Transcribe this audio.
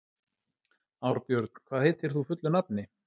Árbjörn, hvað heitir þú fullu nafni?